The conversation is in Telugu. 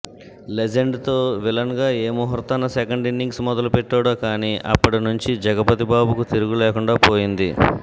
లెజెండ్తో విలన్గా ఏ ముహూర్తంలో సెకండ్ ఇన్నింగ్స్ మొదలుపెట్టాడో కానీ అప్పటి నుంచి జగపతిబాబుకు తిరుగు లేకుండా పోయింది